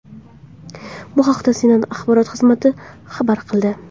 Bu haqda Senat axborot xizmati xabar qildi .